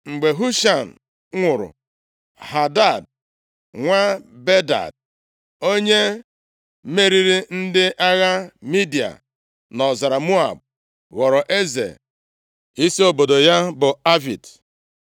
Mgbe Husham nwụrụ, Hadad nwa Bedad, onye meriri ndị agha Midia nʼọzara Moab, ghọrọ eze. Isi obodo ya bụ Avit.